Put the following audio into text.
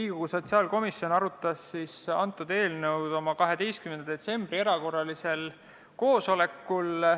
Riigikogu sotsiaalkomisjon arutas seda eelnõu 12. detsembri erakorralisel koosolekul.